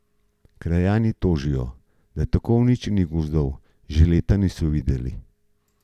Krajani tožijo, da tako uničenih gozdov že leta niso videli.